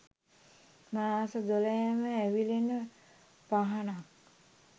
මාස දොළහෙම ඇවිලෙන පහනක්.